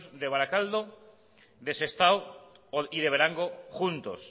de barakaldo de sestao y de berango juntos